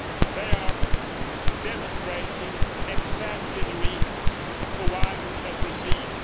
They are demonstrating exactly the reasons why we should proceed.